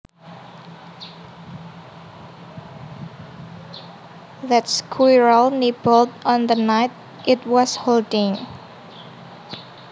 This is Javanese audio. That squirrel nibbled on the nut it was holding